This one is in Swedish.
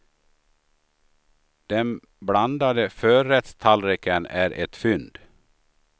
Den blandade förrättstallriken är ett fynd.